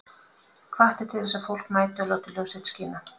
Hvatt er til þess að fólk mæti og láti ljós sitt skína